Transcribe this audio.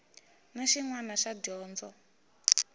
na xin wana xa dyondzo